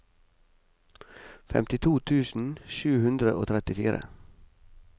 femtito tusen sju hundre og trettifire